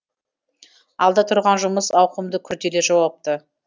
алда тұрған жұмыс ауқымды күрделі жауапты